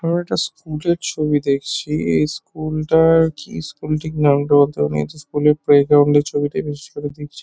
আমরা একটা স্কুল -এর ছবি দেখছি। এই স্কুল -টার কি স্কুল ঠিক নামটা বলতে পারব না। এই যে স্কুল -এর প্লেগ্রাউন্ড -এর ছবি টাই বিশেষ করে দেখছি।